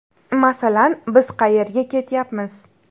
Masalan, biz qayerga ketyapmiz.